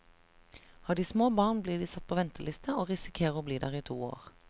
Har de små barn, blir de satt på venteliste, og risikerer å bli der i to år.